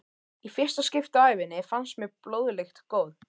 Í fyrsta skipti á ævinni fannst mér blóðlykt góð.